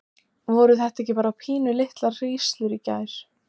Hallkell tvísté áður en hann rauf þögnina og sagði